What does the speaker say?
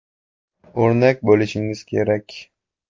O‘rnak bo‘lishingiz kerak.